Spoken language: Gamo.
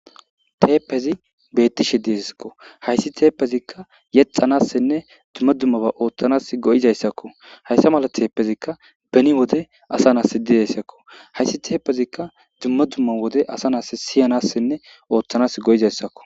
Teppezi be'ettishe deeso. Ha issi teppezikka yetstsanassinne dumma dumma ba ottanassi go'esiko. Haysa mala teppezikka beni wode asanassi de'aysako. Haysi teppezikka dumma dumma wode asanassi siyanassinne ottanassi go'esiko.